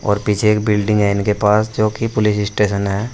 और पीछे एक बिल्डिंग है इनके पास जो कि पुलिस स्टेशन है।